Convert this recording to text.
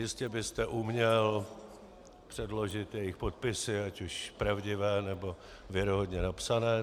Jistě byste uměl předložit jejich podpisy, ať už pravdivé, nebo věrohodně napsané.